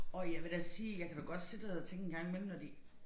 Og jeg vil da sige jeg kan da godt sidde og tænke en gang imellem når de